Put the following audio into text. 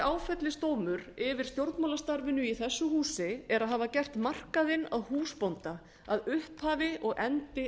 áfellisdómur yfir stjórnmálastarfinu í þessu húsi er að hafa gert markaðinn að húsbónda að upphafi og endi